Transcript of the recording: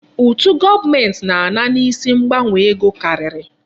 Ụtụ gọọmenti na-ana n'isi mgbanwe ego karịrị.